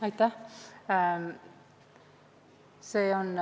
Aitäh!